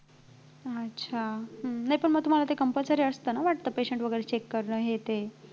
अच्छ. नाही पण मग तुम्हाला compulsory असतं ना वाटतं patient वगैरे check करणं हे ते